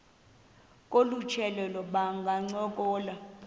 kolu tyelelo bangancokola